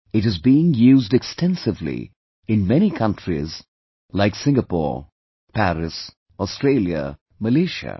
It is being used extensively in many countries like Singapore, Paris, Australia, Malaysia